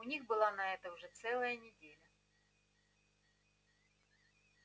у них была на это уже целая неделя